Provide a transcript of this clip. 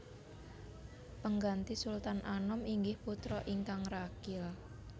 Pengganti Sultan Anom inggih putra ingkang ragil